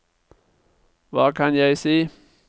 hva kan jeg si